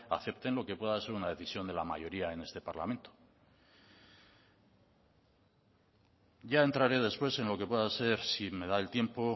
acepten lo que pueda ser una decisión de la mayoría en este parlamento ya entraré después en lo que pueda ser si me da el tiempo